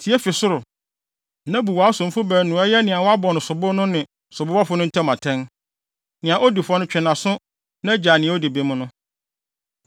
tie fi ɔsoro, na bu wʼasomfo baanu no a ɛyɛ nea wɔabɔ no sobo no ne sobobɔfo no ntam atɛn. Nea odi fɔ no, twe nʼaso na gyaa nea odi bem no.